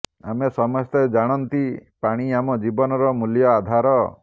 ଆମେ ସମସ୍ତେ ଜାଣନ୍ତି ପାଣି ଆମ ଜୀବନର ମୂଲ୍ୟ ଆଧାର